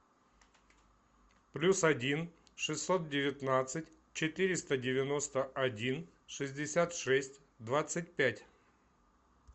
плюс один шестьсот девятнадцать четыреста девяносто один шестьдесят шесть двадцать пять